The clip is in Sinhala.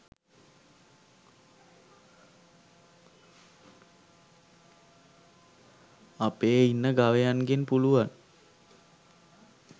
අපේ ඉන්න ගවයන්ගෙන් පුළුවන්